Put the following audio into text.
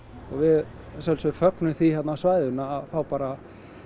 og við að sjálfsögðu fögnum því hérna á svæðinu að fá bara